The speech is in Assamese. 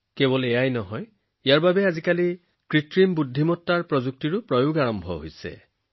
কেৱল ইমানেই নহয় আজি ইয়াক কৃত্ৰিম বুদ্ধিমত্তাৰ দৰে প্ৰযুক্তিৰ বাবে ব্যৱহাৰ কৰা হৈছে